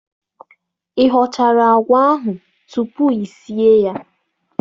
Ị họchara àgwà ahụ tupu i sie ya?